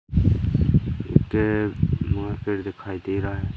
के वहां पेड़ दिखाई दे रहा है।